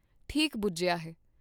ਠੀਕ ਬੁਝਿਆ ਹੈ।